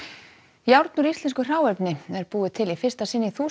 járn úr íslensku hráefni er búið til í fyrsta sinn í þúsund